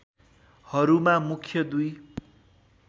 हरूमा मुख्य दुई